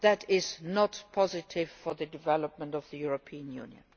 That is not positive for the development of the European Union.